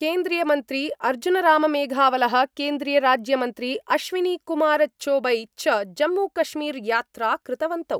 केन्द्रीयमन्त्री अर्जुनराममेघवाल: केन्द्रीयराज्यमन्त्री अश्विनीकुमारचौबे च जम्मूकश्मीर यात्रा कृतवन्तौ।